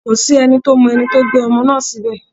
Kò sí ẹni tó mọ ẹni tó gbé ọmọ náà síbẹ̀